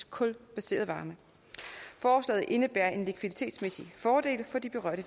kulbaseret varme forslaget indebærer en likviditetsmæssig fordel for de berørte